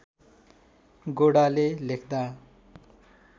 गोडाले लेख्दा